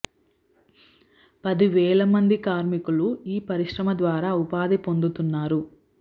పది వేల మంది కార్మికులు ఈ పరిశ్రమ ద్వారా ఉపాధి పొందుతున్నారు